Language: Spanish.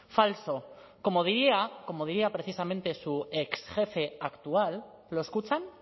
falso como diría como diría precisamente su exjefe actual lo escuchan